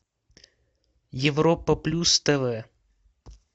европа плюс тв